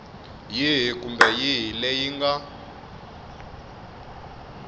yihi kumbe yihi leyi nga